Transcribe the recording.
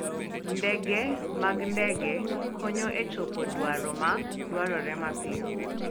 Ndege mag ndege konyo e chopo dwaro ma dwarore mapiyo.